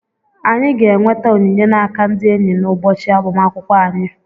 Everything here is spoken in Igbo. Anyị ga-enweta onyinye n'aka ndị enyị n'ụbọchị agbamakwụkwọ anyị.